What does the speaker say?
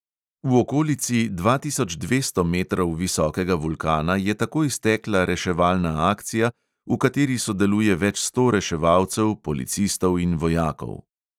V okolici dva tisoč dvesto metrov visokega vulkana je takoj stekla reševalna akcija, v kateri sodeluje več sto reševalcev, policistov in vojakov.